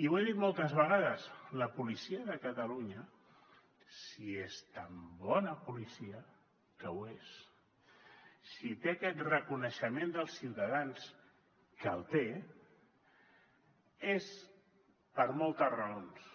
i ho he dit moltes vegades la policia de catalunya si és tan bona policia que ho és si té aquest reconeixement dels ciutadans que el té és per moltes raons